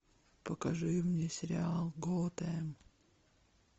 покажи мне сериал готэм